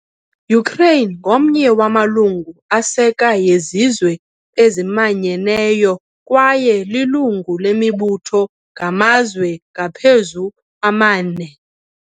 Ukraine ngomnye wamalungu aseka yeZizwe eziManyeneyo kwaye lilungu lemibutho ngamazwe ngaphezu amane.